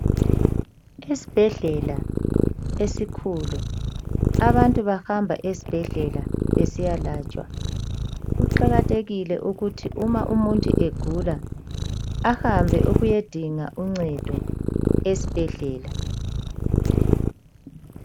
Esibhedlela esikhulu. Abantu bahamba ezibhedlela besiyalatshwa. Kuqakathekile ukuthi uma umuntu egula ahambe ukuyadinga uncedo esibhedlela.